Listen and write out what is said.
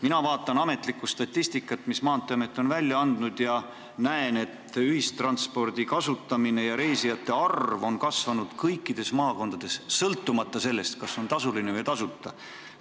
Mina vaatan ametlikku statistikat, mis Maanteeamet on välja andnud, ja näen, et ühistranspordi kasutamine ja reisijate arv on kasvanud kõikides maakondades, sõltumata sellest, kas see on tasuline või tasuta.